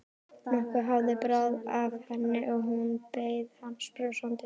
Nokkuð hafði bráð af henni og hún beið hans brosandi.